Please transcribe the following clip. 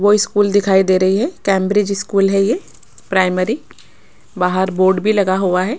वो स्कूल दिखाई दे रही है कैंब्रिज स्कूल है ये प्राइमरी बाहर बोर्ड भी लगा हुआ है।